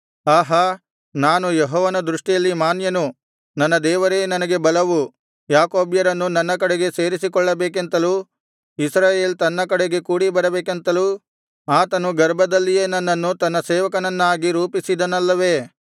ಆಹಾ ನಾನು ಯೆಹೋವನ ದೃಷ್ಟಿಯಲ್ಲಿ ಮಾನ್ಯನು ನನ್ನ ದೇವರೇ ನನಗೆ ಬಲವು ಯಾಕೋಬ್ಯರನ್ನು ತನ್ನ ಕಡೆಗೆ ಸೇರಿಸಿಕೊಳ್ಳಬೇಕೆಂತಲೂ ಇಸ್ರಾಯೇಲ್ ತನ್ನ ಕಡೆಗೆ ಕೂಡಿಬರಬೇಕೆಂತಲೂ ಆತನು ಗರ್ಭದಲ್ಲಿಯೇ ನನ್ನನ್ನು ತನ್ನ ಸೇವಕನನ್ನಾಗಿ ರೂಪಿಸಿದನಲ್ಲವೆ